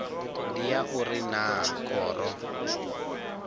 ndi ya uri naa khoro